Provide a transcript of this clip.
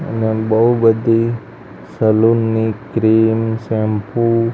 અને એમ બો બધી સલૂન ની ક્રીમ શેમ્પૂ --